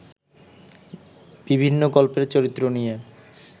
বিভিন্ন গল্পের চরিত্র নিয়ে